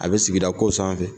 A be sigida ko sanfɛ